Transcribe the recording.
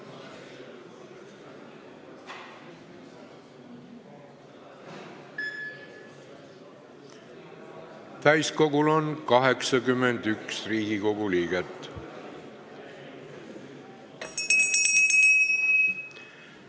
Kohaloleku kontroll Täiskogul on 81 Riigikogu liiget.